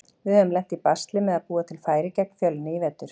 Við höfum lent í basli með að búa til færi gegn Fjölni í vetur.